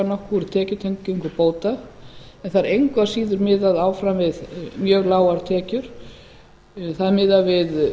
nokkuð úr tekjutengingu bóta en það er engu að síður miðað áfram við mjög lágar tekjur það er miðað við